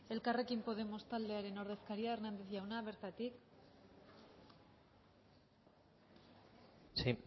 elkarrekin podemos taldearen ordezkaria hernández jauna bertatik sí